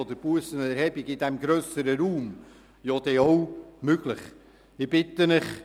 Dann wäre in diesem grösseren Raum auch die Möglichkeit der Bussenerhebung möglich.